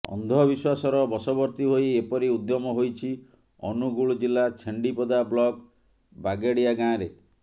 ଅନ୍ଧ ବିଶ୍ୱାସର ବଶବର୍ତ୍ତୀ ହୋଇ ଏପରି ଉଦ୍ୟମ ହୋଇଛି ଅନୁଗୁଳ ଜିଲ୍ଲା ଛେଣ୍ଡିପଦା ବ୍ଲକ ବାଗେଡ଼ିଆ ଗାଁରେ